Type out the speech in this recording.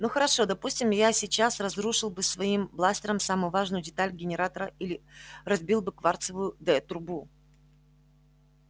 ну хорошо допустим я сейчас разрушил бы своим бластером самую важную деталь генератора или разбил бы кварцевую д-трубку